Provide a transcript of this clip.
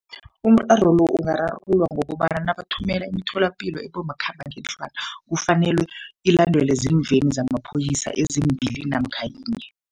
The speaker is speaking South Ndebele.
Umraro lo ungararululwa ngokobana nabathumela imitholapilo ebomakhambangendlwana, kufanelwe ilandelwe zimveni zamapholisa ezimbili namkha yinye.